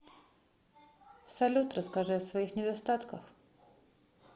салют расскажи о своих недостатках